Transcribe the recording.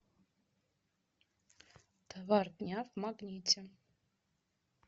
товар дня в магните